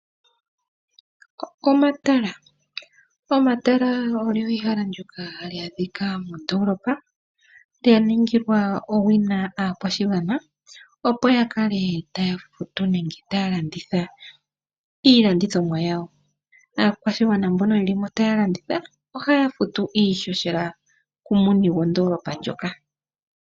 Omatala Omatala olyo ehala ndyoka hali adhika mondoolopa, lya ningilwa owina aakwashigwana, opo ya kale taya futu nenge taya landitha iilandithomwa yawo. Aakwashigwana mbono ye li mo taya landitha ohaya futu iifendela kumuni gwondoolopa ndjoka.